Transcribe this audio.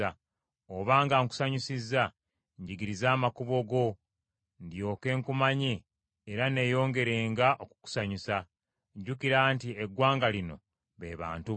Obanga nkusanyusizza, njigiriza amakubo go ndyoke nkumanye era nneeyongeranga okukusanyusa. Jjukira nti eggwanga lino be bantu bo.”